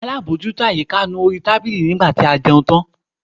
Alábòjútó àyíká nu orí tábìlì nígbà tí a jẹun tán.